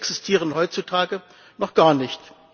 Diese existieren heutzutage noch gar nicht.